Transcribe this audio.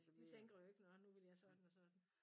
De tænker jo ikke nåh nu vil jeg sådan og sådan